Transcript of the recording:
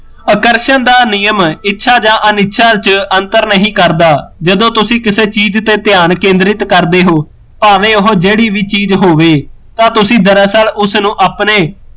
ਆਕਰਸ਼ਣ ਦਾ ਨਿਯਮ ਇੱਛਾ ਜਾਂ ਅਨਇੱਛਾ ਚ ਅੰਤਰ ਨਹੀਂ ਕਰਦਾ ਜਦੋ ਤੁਸੀਂ ਕਿਸੇ ਚੀਜ਼ ਉੱਤੇ ਧਿਆਨ ਕੇਂਦਰਿਤ ਕਰਦੇ ਹੋ ਭਾਵੇ ਉਹ ਜਿਹੜੀ ਵੀ ਚੀਜ਼ ਹੋਵੇ ਤਾਂ ਦਰਅਸਲ ਉਸਨੂੰ ਆਪਣੇ